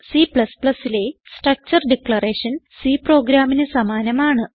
Cലെ structure declaration C പ്രോഗ്രാമിന് സമാനമാണ്